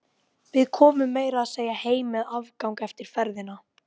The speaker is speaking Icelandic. Við komum meira að segja heim með afgang eftir ferðina.